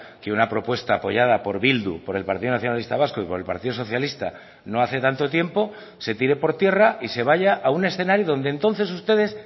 que una propuesta apoyada por bildu por el partido nacionalista vasco y por el partido socialista no hace tanto tiempo se tire por tierra y se vaya a un escenario donde entonces ustedes